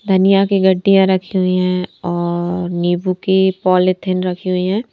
धनिया की गड्डियां रखी हुई हैं और नींबू की पॉलिथीन रखी हुई है।